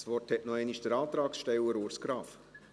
Das Wort hat noch einmal der Antragsteller, Urs Graf.